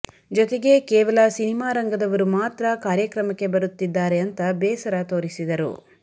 ಜೊತೆಗೆ ಕೇವಲ ಸಿನಿಮಾ ರಂಗದವರು ಮಾತ್ರ ಕಾರ್ಯಕ್ರಮಕ್ಕೆ ಬರುತ್ತಿದ್ದಾರೆ ಅಂತ ಬೇಸರ ತೋರಿಸಿದರು